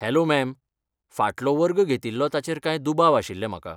Hello ma'am, फाटलो वर्ग घेतिल्लो ताचेर कांय दुबाव आशिल्ले म्हाका.